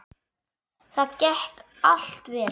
Það gekk allt vel.